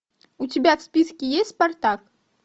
у тебя в списке есть спартак